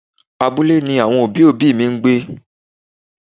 Abúlé ni àwọn òbí òbí mi ń gbé.